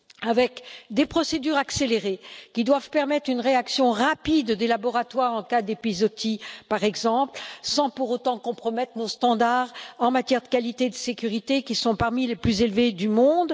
avec des procédures accélérées qui doivent permettre une réaction rapide des laboratoires en cas d'épizootie, par exemple, sans pour autant compromettre nos normes en matière de qualité et de sécurité, qui sont parmi les plus élevées du monde.